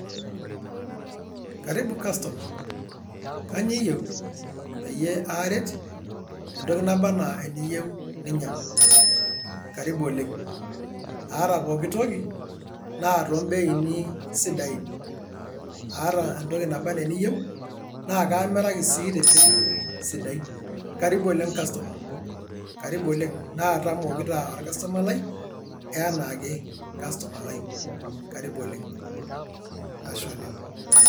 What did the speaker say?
karibu customer ,kainyioo iyieu? peyiee aaret tentoki naba snaa eniyieu ninyiangu. kaata pooki toki. naa toobeini sidain, aata entoki naba anaa eniyieu naa kaamiraki sii tebei sidai. karibu oleng customer ,karibu oleng, naa tamooki taa or customer ai Lai anaake customer Lai. karibu oleng Ashe oleng.